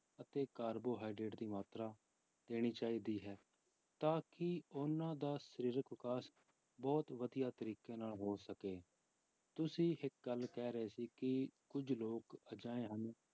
ਅਤੇ ਕਾਰਬੋਹਾਈਡ੍ਰੇਟ ਦੀ ਮਾਤਰਾ ਦੇਣੀ ਚਾਹੀਦੀ ਹੈ ਤਾਂ ਕਿ ਉਹਨਾਂ ਦਾ ਸਰੀਰਕ ਵਿਕਾਸ ਬਹੁਤ ਵਧੀਆ ਤਰੀਕੇ ਨਾਲ ਹੋ ਸਕੇ, ਤੁਸੀਂ ਇੱਕ ਗੱਲ ਕਹਿ ਰਹੇ ਸੀ ਕਿ ਕੁੱਝ ਲੋਕ ਅਜਿਹੇ ਹਨ